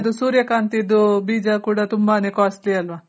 ಇದ್ರದು ಸೂರ್ಯ ಕಾಂತಿದು ಬೀಜ ಕೂಡ ತುಂಬಾನೇ costly ಅಲ್ವ